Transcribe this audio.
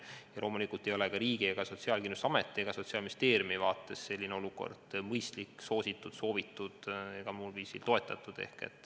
Ja loomulikult ei ole ka riigi, Sotsiaalkindlustusameti ja Sotsiaalministeeriumi vaates selline olukord mõistlik, soositud, soovitud ega muul viisil toetatud.